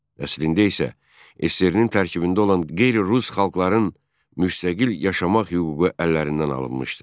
Əslində isə SSRİ-nin tərkibində olan qeyri-rus xalqların müstəqil yaşamaq hüququ əllərindən alınmışdı.